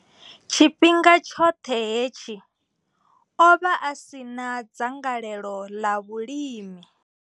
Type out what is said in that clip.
Tshifhinga tshoṱhe hetshi, o vha a si na dzangalelo ḽa vhulimi.